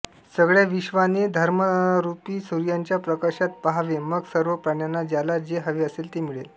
सगळ्या विश्वाने स्वधर्मरूपी सूर्याच्या प्रकाशात पाहावे मग सर्व प्राण्यांना ज्याला जे हवे असेल ते मिळेल